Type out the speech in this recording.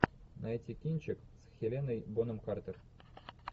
найти кинчик с хеленой бонем картер